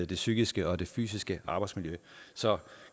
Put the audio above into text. det psykiske og det fysiske arbejdsmiljø så